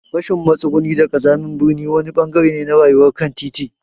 Rashin matsuguni da ƙazamin birni wani ɓangare ne na rayuwar kantiti.